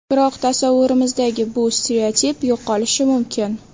Biroq tasavvurimizdagi bu stereotip yo‘qolishi mumkin.